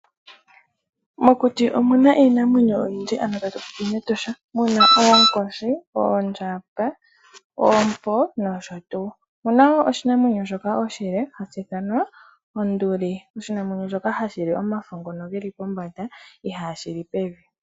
Mokuti omu na iinamwenyo oyindji, ano tatu popi mEtosha. Muna oonkoshi, oondjamba, oompo nosho tuu. Omu na oshinamwenyo shoka oshile hashi ithanwa onduli. Oshinamwenyo shoka hashi li omafo ngoka geli pombanda, ihaashi li pevi.